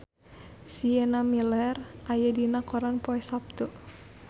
Sienna Miller aya dina koran poe Saptu